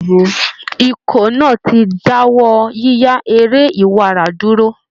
Ikọ̀ náà ti dáwọ́ yíya eré iwara dúró